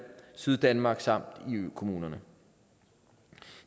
syddanmark samt i økommunerne